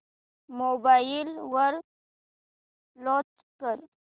mobile वर launch कर